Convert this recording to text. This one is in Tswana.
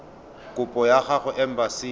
kopo ya gago kwa embasing